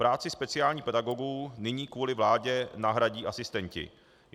Práci speciálních pedagogů nyní kvůli vládě nahradí asistenti.